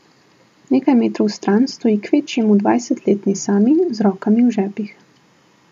Nekaj metrov stran stoji kvečjemu dvajsetletni Sami z rokami v žepih.